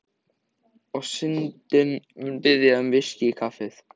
Og Syndin mun biðja um VISKÍ í kaffið.